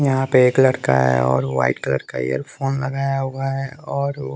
यहां पे एक लड़का है और व्हाइट कलर का ईयर फोन लगाया हुआ है और वो--